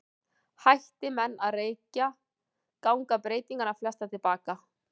Hætti menn að reykja ganga breytingarnar flestar til baka.